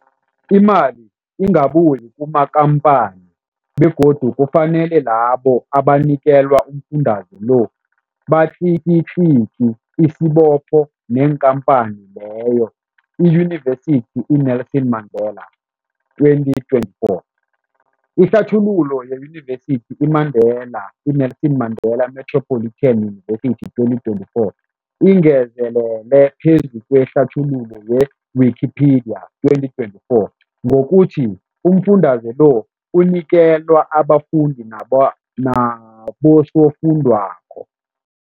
Imali ingabuyi kumakhamphani begodu kufanele labo abanikelwa umfundaze lo batlikitliki isibopho neenkhamphani leyo, Yunivesity i-Nelson Mandela 2024. Ihlathululo yeYunivesithi i-Mandela i-Nelson Mandela Metropolitan University, 2024, ingezelele phezu kwehlathululo ye-Wikipedia, 2024, ngokuthi umfundaze lo unikelwa abafundi nabosofundwakgho.